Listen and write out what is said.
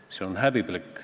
Kas see on nii?